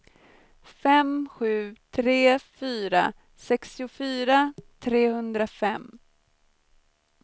fem sju tre fyra sextiofyra trehundrafem